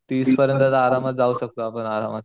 तीस परियंत तर आरामात जाऊ शकतो आपण आरामात.